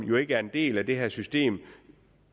ikke er en del af det her system